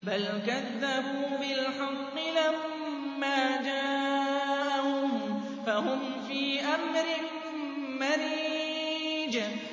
بَلْ كَذَّبُوا بِالْحَقِّ لَمَّا جَاءَهُمْ فَهُمْ فِي أَمْرٍ مَّرِيجٍ